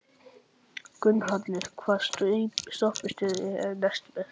Gunnhallur, hvaða stoppistöð er næst mér?